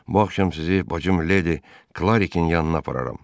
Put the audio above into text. Bu axşam sizi bacım Ledi Klarikin yanına apararam.